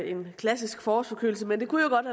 en klassisk forårsforkølelse men det kunne jo godt